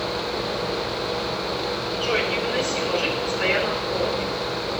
джой невыносимо жить в постоянном холоде